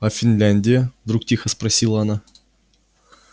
а финляндия вдруг тихо спросила она